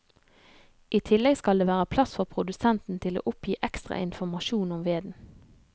I tillegg skal det være plass for produsenten til å oppgi ekstra informasjon om veden.